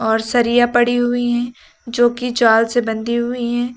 और सरिया पड़ी हुई है जो की जाल से बंधी हुई है।